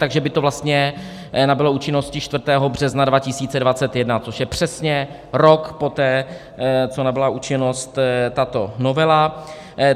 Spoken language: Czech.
Takže by to vlastně nabylo účinnosti 4. března 2021, což je přesně rok poté, co nabyla účinnost tato novela.